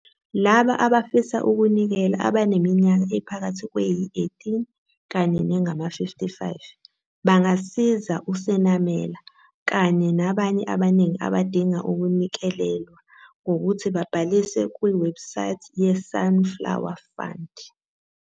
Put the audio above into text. Labo abafisa ukunikela abaneminyaka ephakathi kweyi-18 kanye nengama-55 bangasiza uSenamela kanye nabanye abaningi abadinga ukunikelelwa ngokuthi babhalise kwiwebhusayithi yeSunflower Fund.